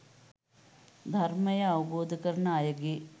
ධර්මය අවබෝධ කරන අයගේ